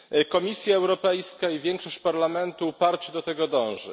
Komisja Europejska i większość Parlamentu uparcie do tego dąży.